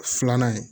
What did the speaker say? Filanan ye